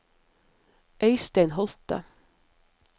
Øistein Holthe